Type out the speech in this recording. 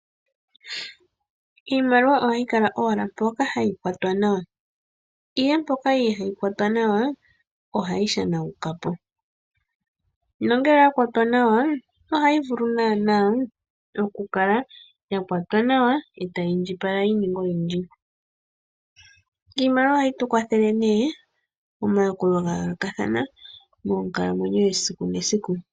Iimaliwa ohayi kala owala mpoka hayi kwatwa nawa, ihe mpoka ihayi kwatwa nawa ohayi shanawukapo nongele oya kwatwa nawa ohayi vulu nana okukala yakwatwa nawa e tayi indjipala yininge oyindji. Iimaliwa ohayi tukwathele ne omayakulo gayoloka thana monkalamwenyo yesiku nesiku.